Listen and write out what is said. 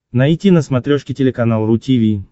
найти на смотрешке телеканал ру ти ви